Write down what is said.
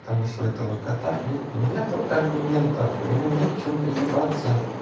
потому что у этого кота блять нету аргументов ему не к чему приебаться